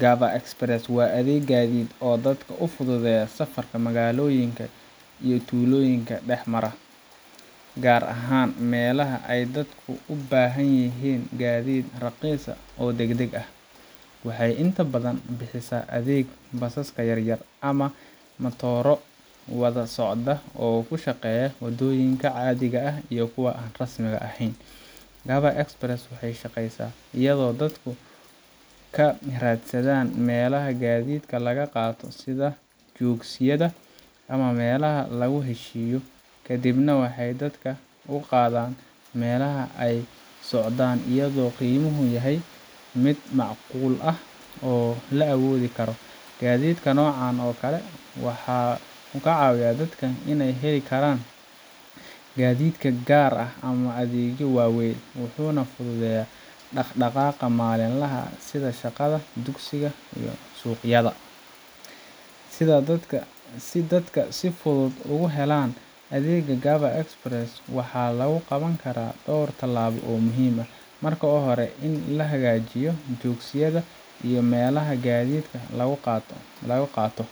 Gava Express waa adeeg gaadiid oo dadka u fududeeya safarka magaalooyinka iyo tuulooyinka dhex mara, gaar ahaan meelaha ay dadku u baahan yihiin gaadiid raqiis ah oo degdeg ah. Waxay inta badan bixisaa adeeg basaska yar yar ama matooro wada socda oo ku shaqeeya waddooyinka caadiga ah iyo kuwa aan rasmi ahayn. Gava Express waxay shaqeysaa iyadoo dadku ka raadsadaan meelaha gaadiidka laga qaato sida joogsiyada ama meelaha lagu heshiiyo, kadibna waxay dadka u qaadaan meelaha ay u socdaan iyadoo qiimuhu yahay mid macquul ah oo la awoodi karo. Gaadiidka noocan oo kale ah wuxuu caawiyaa dadka aan heli karin gaadiid gaar ah ama adeegyo waaweyn, wuxuuna fududeeyaa dhaqdhaqaaqa maalinlaha ah sida shaqada, dugsiga, iyo suuqyada. Si dadka si fudud ugu helaan adeegga Gava Express waxaa lagu qaban karaa dhowr tallaabo oo muhiim ah: Marka hore, in la hagaajiyo joogsiyada iyo meelaha gaadiidka lagu qaato,